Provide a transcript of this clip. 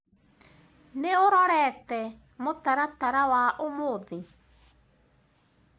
Nĩũrorete mũtaratara wa ũmũthĩ?